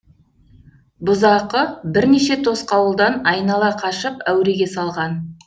бұзақы бірнеше тосқауылдан айнала қашып әуреге салған